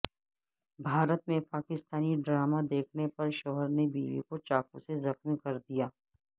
بھارت میں پاکستانی ڈراما دیکھنے پر شوہر نےبیوی کو چاقو سے زخمی کردیا